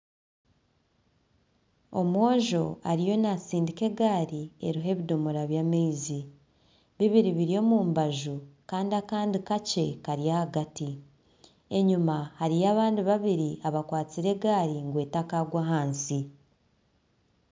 Omwojo ariho naatsindika egaari eriho ebidomora by'amaizi, bibiri biri omu mbaju kandi kakye kari ahagati, enyuma hariyo abandi babiri abakwatsire egari ngu etakagwa ahansi.